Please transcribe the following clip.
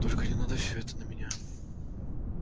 только не надо всё это на меня